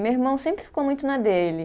Meu irmão sempre ficou muito na dele.